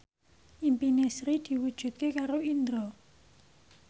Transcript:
impine Sri diwujudke karo Indro